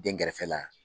Den kɛrɛfɛ la